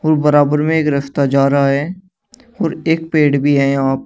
और बराबर में एक रस्ता जा रहा है और एक पेड़ भी हैं यहां पर।